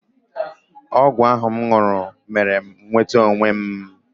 Ọgwụ ahụ m ṅụrụ mere m nweta onwe m.